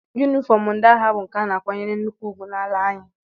Yunifọm ndị agha bụ nke a na-akwanyere nnukwu ugwu n'ala anyị